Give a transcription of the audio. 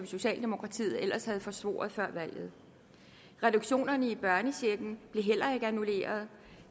socialdemokratiet ellers havde forsvoret før valget reduktionerne i børnechecken bliver heller ikke annulleret